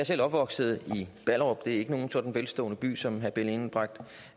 selv opvokset i ballerup det er ikke nogen sådan velstående by som herre benny engelbrecht